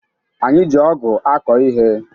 Anyị ji ọgụ̀ akọ ihe.